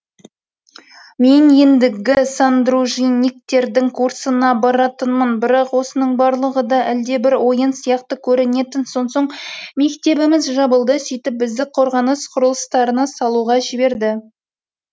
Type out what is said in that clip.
мен ендігі сандружинниктердің курсына баратынмын бірақ осының барлығы да әлдебір ойын сияқты көрінетін сонсоң мектебіміз жабылды сөйтіп бізді қорғаныс құрылыстарын салуға жіберді